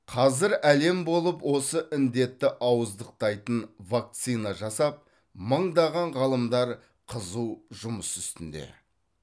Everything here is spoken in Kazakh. қазір әлем болып осы індетті ауыздықтайтын вакцина жасап мыңдаған ғалымдар қызу жұмыс үстінде